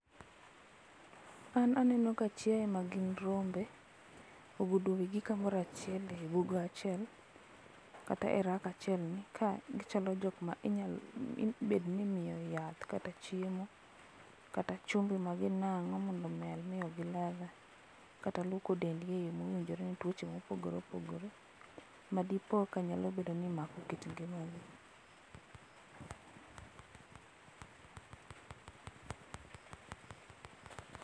An aneno ka chiaye magin rombe ogudo wigi kamoro achiel e bugo achiel kata e rack achiel ni ka gichalo jokma ibedo ni imiyo yath kata chiemo kata chumbi ema ginango mondo omed miyo gi ladha kata luoko dendgi e yoo mowinjore ne tuoche mopogore opogore madi ka nyalo mako kit ngimagi